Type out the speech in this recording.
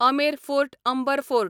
Amer fort Amber fort